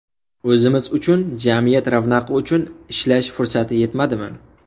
O‘zimiz uchun, jamiyat ravnaqi uchun ishlash fursati yetmadimi?